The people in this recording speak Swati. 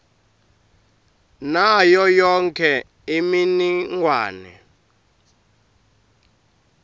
nayo yonkhe imininingwane